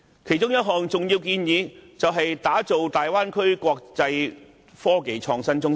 其中一項重要建議，是打造大灣區成為國際科技創新中心。